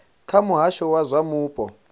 kha muhasho wa zwa mupo